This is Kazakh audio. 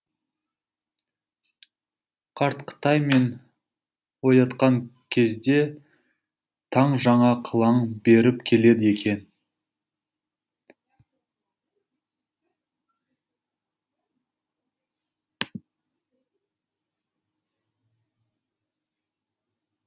қарт қытай мені оятқан кезде таң жаңа қылаң беріп келеді екен